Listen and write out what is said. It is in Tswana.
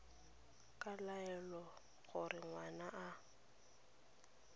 ka laela gore ngwana a